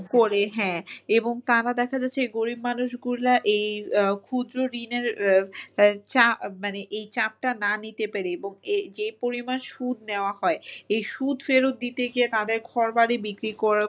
করে হ্যাঁ, তারা দেখা যাচ্ছে গরিব মানুষগুলার এই ক্ষুদ্র ঋণের মানে এই চাপটা না নিতে পেরে এবং এই যে পরিমান সুদ নেওয়া হয় এই সুদ ফেরত দিতে গিয়ে তাদের ঘরবাড়ি বিক্রি কর~